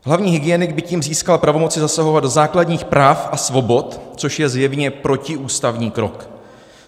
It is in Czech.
Hlavní hygienik by tím získal pravomoci zasahovat do základních práv a svobod, což je zjevně protiústavní krok.